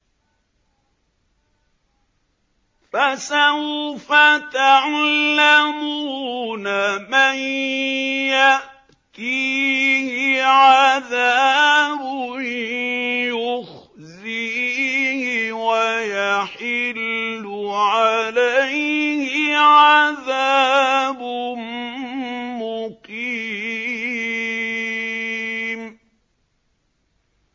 فَسَوْفَ تَعْلَمُونَ مَن يَأْتِيهِ عَذَابٌ يُخْزِيهِ وَيَحِلُّ عَلَيْهِ عَذَابٌ مُّقِيمٌ